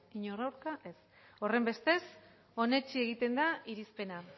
inor aurka ez horrenbestez onetsi egiten da irizpena